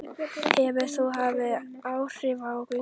Hefur það haft áhrif á gönguna?